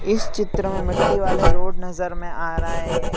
इस चित्र मे मट्टी वाले रोड नज़र मे आ रहे--